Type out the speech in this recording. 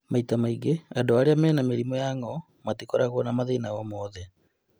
Maita maingĩ, andũ arĩa mena mĩrimũ ya ngo’ matikoragwa na mathĩna o moothe.